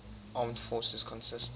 armed forces consist